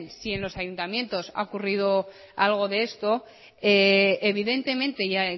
si en los ayuntamientos ha ocurrido algo de esto evidentemente